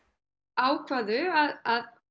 ákváðu að